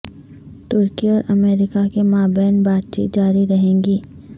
ترکی اور امریکہ کے مابین بات چیت جاری رہے گی